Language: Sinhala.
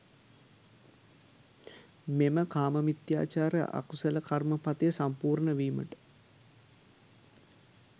මෙම කාම මිථ්‍යාචාර අකුසල කර්ම පථය සම්පූර්ණ වීමට